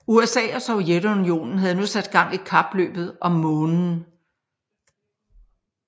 USA og Sovjetunionen havde nu sat gang i kapløbet om Månen